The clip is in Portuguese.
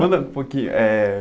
Manda um pouquinho, é...